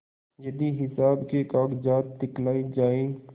यदि हिसाब के कागजात दिखलाये जाएँ